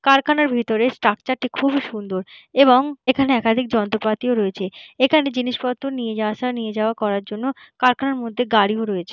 কারখানার ভেতরের স্ট্রাকচারটি খুব এই সুন্দর এবং এইখানে একাধিক যন্ত্রপাতি রয়েছে। এইখানে যন্ত্রপাতি নিয়ে যাওয়া আসা নিয়ে যাওয়া করার জন্য কারখানার ভেতর গাড়ি রয়েছে।